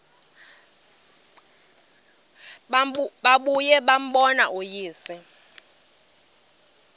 babuye bambone uyise